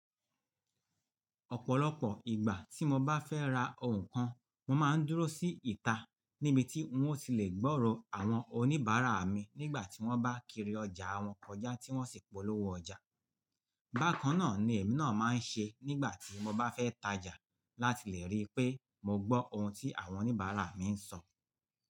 Ọ̀pọ̀lọpọ̀ ìgbà tí mo bá fẹ́ ra ohun kan, mo máa ń dúró sí ìta níbi tí n ó ti lè gbọ́rọ̀ àwọn oníbàárà mi nígbà tí wọ́n bá kiri ọjà àwọn koja tí wọ́n sì polówó ọjà. Bákan náà ni èmi náà máa ń ṣe nígbà tí mo bá fẹ́ tajà láti lè rí pé mo gbọ́ ohun tí àwọn oníbàárà mi ń sọ.